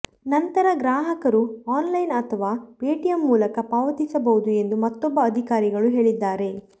ನಂತರ ಗ್ರಾಹಕರು online ಅಥವಾ ಪೇಟಿಎಂ ಮೂಲಕ ಪಾವತಿಸಬಹುದು ಎಂದು ಮತ್ತೊಬ್ಬ ಅಧಿಕಾರಿಗಳು ಹೇಳಿದ್ದಾರೆ